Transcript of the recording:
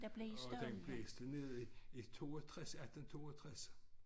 Og den blæste ned i i 62 18 62